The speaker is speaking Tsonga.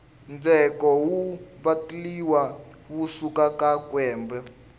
ndzheko wu vatliwa wu suka ka kwembe